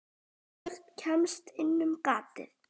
Hvorugt kemst inn um gatið.